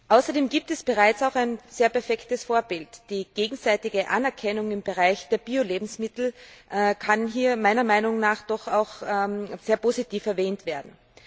Außerdem gibt es bereits auch ein sehr perfektes Vorbild Die gegenseitige Anerkennung im Bereich der Biolebensmittel kann hier meiner Meinung nach doch auch sehr positiv erwähnt werden.